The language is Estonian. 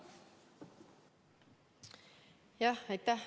Aitäh!